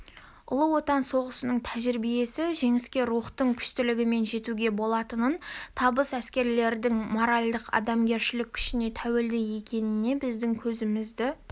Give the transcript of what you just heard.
ұлы отан соғысының тәжірибесі жеңіске рухтың күштілігімен жетуге болатынын табыс әскерлердің моральдық-адамгершілік күшіне тәуелді екеніне біздің көзімізді